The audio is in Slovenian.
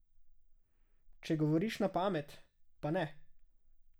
Če govoriš na pamet, pa ne.